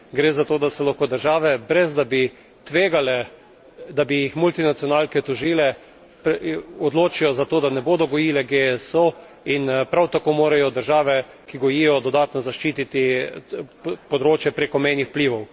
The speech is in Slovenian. Gre za to, da se lahko države, brez da bi tvegale, da bi jih multinacionalke tožile, odločijo za to, da ne bodo gojile GSO, in prav tako morajo države, ki gojijo, dodatno zaščititi področje prekomejnih vplivov.